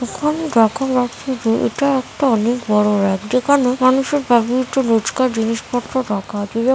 এখানে দেখা যাচ্ছে যে এটা একটা অনেক বড়ো যেখানে মানুষের ব্যবহৃত রোজকার জিনিসপত্র রাখা আছে যেমন--